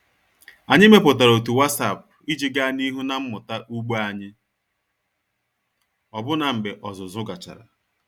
Anyị mepụtara otu WhatsApp iji gaa n'ihu na mmụta ugbo anyị ọbụna mgbe ọzụzụ gachara.